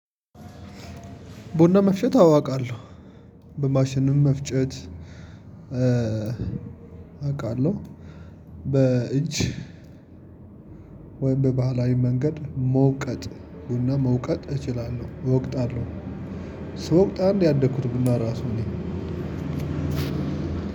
ብና መፍጨት አው አቃለሁ በማሽንም መፍጨት አውቃለሁ። በእጅ ወይም በባህላዊ መንገድ መውቀጥ ቡና መውቀጥ እችላለሁ እወቅጣ አለው። ስወቅት አደል እንዴ ያደኩት ቡና ራሱ እኔ